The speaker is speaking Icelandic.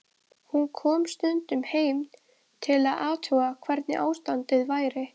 Hún kom stundum heim til að athuga hvernig ástandið væri.